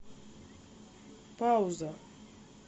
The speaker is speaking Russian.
пауза